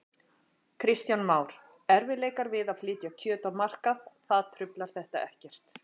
Kristján Már: Erfiðleikar við að flytja kjöt á markað, það truflar þetta ekkert?